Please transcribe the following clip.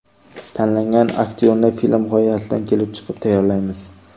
Tanlangan aktyorni film g‘oyasidan kelib chiqib tayyorlaymiz.